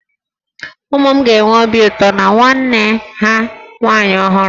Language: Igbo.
Ụmụ m ga-enwe obi ụtọ na nwanne ha nwaanyị ọhụrụ